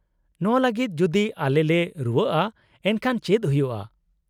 -ᱱᱚᱶᱟ ᱞᱟᱹᱜᱤᱫ ᱡᱩᱫᱤ ᱟᱞᱮᱞᱮ ᱨᱩᱣᱟᱹᱜᱼᱟ ᱮᱱᱠᱷᱟᱱ ᱪᱮᱫ ᱦᱩᱭᱩᱜᱼᱟ ?